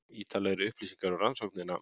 Ítarlegri upplýsingar um rannsóknina